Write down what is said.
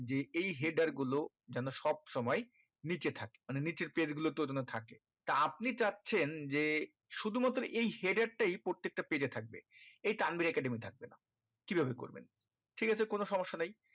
যে এই header গুলো যেন সব সময় নিচে থাকে মানে নিচের page গুলো তে অতো না থাকে তা আপনি চাচ্ছেন যে শুধু মাত্র এই header টাই প্রত্যেকটা page এ থাকবে এই তানভীর থাকবে না কি ভাবে করবেন ঠিক আছে কোনো সমস্যা নেই